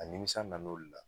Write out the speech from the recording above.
A nimisa nan'o de la.